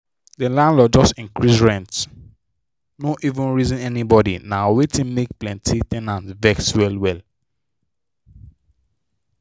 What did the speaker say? the landlord just increase rent no even reason anybody na wetin make plenty ten ants vex well well.